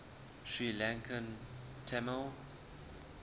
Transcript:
sri lankan tamil